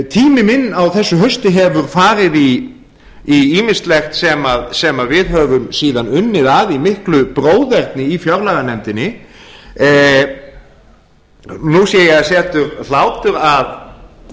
tími minn á þessu hausti hefur farið í ýmislegt sem við höfum síðan unnið að í miklu bróðerni í fjárlaganefndinni nú sé ég að það setur hlátur að